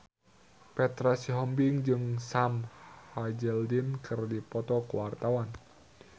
Petra Sihombing jeung Sam Hazeldine keur dipoto ku wartawan